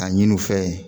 A ɲini u fɛ ye